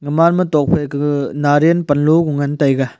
aman ma tokphai kaga nariyal panlow ngan taiga.